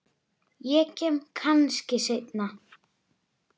Ég kem kannski seinna